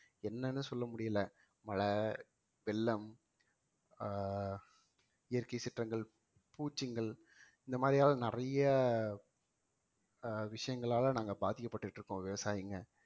என்னன்னு சொல்ல முடியல மழை, வெள்ளம் ஆஹ் இயற்கை சீற்றங்கள் பூச்சிங்கள் இந்த மாதிரியான நிறைய அஹ் விஷயங்களால நாங்க பாதிக்கப்பட்டுட்டு இருக்கோம் விவசாயிங்க